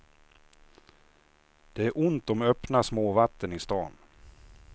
Det är ont om öppna småvatten i stan.